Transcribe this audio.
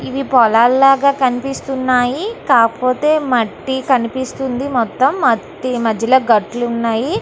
ఇవి పోలల్లాగా కనిపిస్తున్నాయి. కాకపోతే మట్టి కనిపిస్తుంది. మొత్తం మట్టి మధ్యలో గాట్లున్నాయి.